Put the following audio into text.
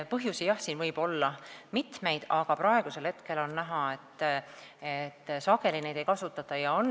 Põhjusi, jah, võib olla mitmeid, aga praegu on näha, et sageli neid teenuseid ei kasutata.